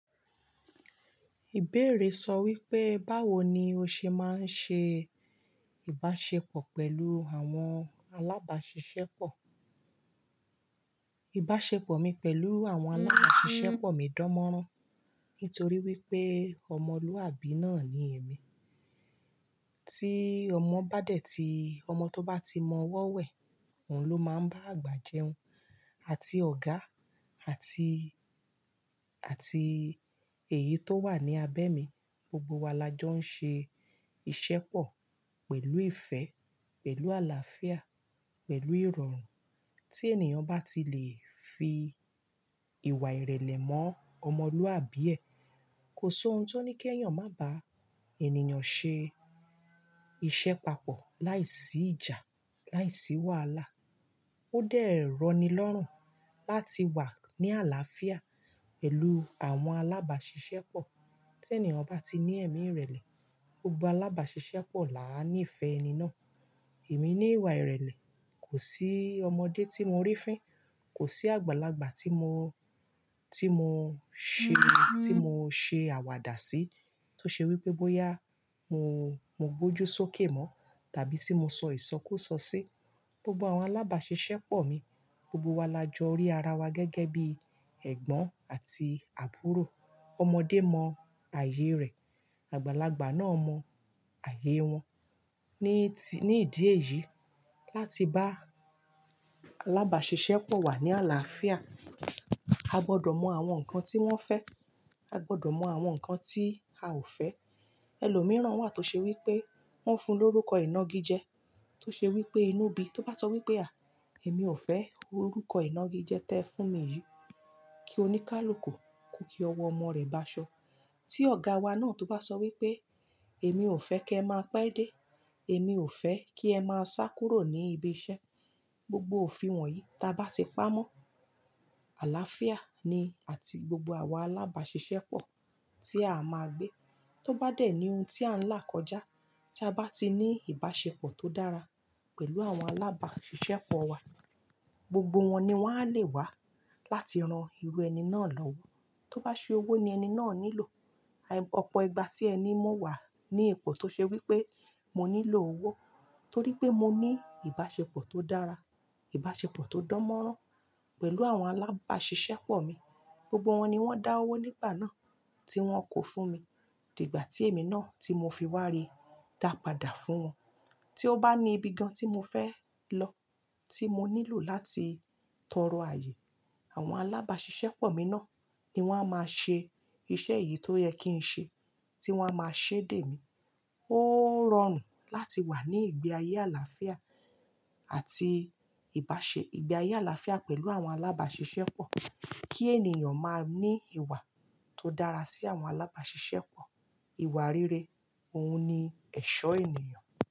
Ibéèrè sọ wípé, báwo ni o ṣe máa ń ṣe ìbáṣepọ̀ pẹ̀lú àwọn alábàáṣiṣẹ́pọ̀? Ìbáṣepọ̀ mi pẹ̀lú àwọn alábàáṣiṣẹ́pọ̀ mi dán mọ́rán, nítorí wípé ọmọlúwàbí náà ni èmi. Tí ọmọ bá dẹ̀ tíi ọmọ tó bá ti mọ ọwọ́ wẹ̀, òun ló máa ń bá àgbà jẹun. Àti ọ̀gá àti, èyí tó wà ní abẹ́ mi, gbogbo wa la jọ ń ṣe ìṣẹ́pọ̀ pẹ̀lú ìfẹ́, pẹ̀lú àlàáfíà, pẹ̀lú ìrọ̀rùn. Tí ènìyàn bá ti lè fi ìwà ìrẹ̀lẹ̀ mọ́ ọmọlúwàbí ẹ, kò sí ohun tó ní kí ẹ̀yàn má bàá ènìyàn ṣe iṣẹ́ papọ̀ láìsí ìjà, láìsí wàhálà. Ó dẹ́ rọni lọ́rùn láti wà ní àlàáfíà pẹ̀lú àwọn alábàáṣiṣẹ́pọ̀. Tí ènìyàn bá ti ní ẹ̀mí ìrẹ̀lẹ̀, gbogbo alábàáṣiṣẹ́pọ̀ là á ní ìfẹ́ ẹni náà. Èmi ní ìwà ìrẹ̀lẹ̀, kò sí ọmọdé tí mo rí fín, kò sí àgbàlagbà tí mo, tí mo ṣe, oun tí mo ṣe àwàdà sí. Tó ṣe wípé bóyá mo, mo gbójú sókè mọ́, tàbí tí mo sọ ìsọkúsọ sí. Gbogbo àwọn alábàáṣiṣẹ́pọ̀ mi, gbogbo wa la jọ rí ara wa gẹ́gẹ́ bí ẹ̀gbọ́n àti àbúrò. Ọmọdé mọ ààyè rẹ̀, àgbàlagbà náà mọ ààyè wọn. Ni idí èyí, láti bá alábàáṣiṣẹ́pọ̀ wà ní àlàáfíà, a gbọdọ̀ mọ àwọn nǹkan tí wọ́n fẹ́, a gbọdọ̀ mọ àwọn nǹkan tí a ò fẹ́. Ẹlòmíràn wà tó ṣe wípé wọ́n fun lórúkọ inágijẹ, tó ṣe wípé inú bí. Tó bá sọ wípé à, èmi ò fẹ́ orúkọ inágijẹ tí ẹ fún mi yìí, kí óníkálukù ko kí ọwọ́ ọmọ rẹ̀ báṣọ. Tí ọ̀gá wa náà tó bá sọ wípé èmi ò fẹ́ kí ẹ máa pẹ́ dé, èmi ò fẹ́ kí ẹ máa sá kúrò ní ibi iṣẹ́. Gbogbo òfin wọ̀nyí tí a bá ti pamọ́, àlàáfíà ni àti gbogbo àwa alábàáṣiṣẹ́pọ̀ tí a máa gbé. Tó bá dẹ̀ ní ohun tí a ń là kọjá, tí a bá ti ní ìbáṣepọ̀ tó dára pẹ̀lú àwọn alábàáṣiṣẹ́pọ̀ wa, gbogbo wọn ni wọ́n á le wá láti ran irú ẹni náà lọ́wọ́. Tó bá ṣe owó ni ẹni náà nílò, ọ̀pọ̀ ìgbà tí ẹni mo wà ní ipò tó ṣe wípé mo nílò owó, torí pé mo ní ìbáṣepọ̀ tó dára, ìbáṣepọ̀ tó dánmọ́rán pẹ̀lú àwọn alábàáṣiṣẹ́pọ̀ mi, gbogbo wọn ni wọ́n dá owó nígbà náà tí wọ́n kó fún mi. Dìgbà tí èmi náà tí mo fiwá rí, dá padà fún wọn. Tí ó bá ní ibi gan tí mo fẹ́ lọ, tí mo nílò láti tọrọ ààyè, àwọn alábàáṣiṣẹ́pọ̀ mi náà ni wọ́n a máa ṣe iṣẹ́ yìí tó yẹ kí n ṣe, tí wọ́n a máa ṣé dè mí. Ó rọrùn láti wà ní ìgbé ayé àlàáfíà àti ìbáṣe, ìgbé ayé àlàáfíà pẹ̀lú àwọn alábàáṣiṣẹ́pọ̀. Kí ènìyàn máa ní ìwà tó dára sí àwọn alábàáṣiṣẹ́pọ̀, ìwà rere, òun ni ẹ̀ṣọ́ ènìyàn.